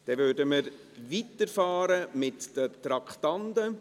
Dann würden wir mit den Traktanden weiterfahren.